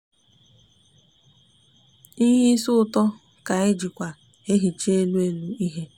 ihe isi uto ka anyi jikwa ehicha elu elu ihe.